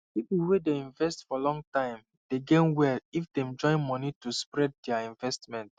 people wey dey invest for long time dey gain well if dem join money to spread their investment